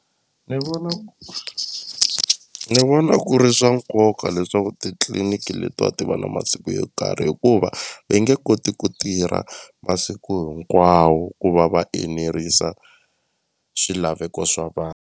Ni vona ni vona ku ri swa nkoka leswaku titliniki letiwa ti va na masiku yo karhi hikuva ve nge koti ku tirha masiku hinkwawo ku va va enerisa swilaveko swa vanhu.